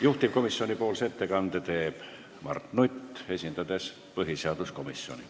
Juhtivkomisjoni ettekande teeb Mart Nutt, esindades põhiseaduskomisjoni.